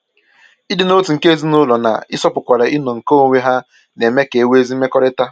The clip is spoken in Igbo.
Ịdị n'otu nke ezinụlọ na-ịsọpụkwara ịnọ nke onwe ha na-eme ka e nwee ezi mmekọrịta.